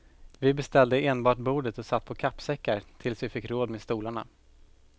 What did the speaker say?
Vi beställde enbart bordet och satt på kappsäckar tills vi fick råd med stolarna.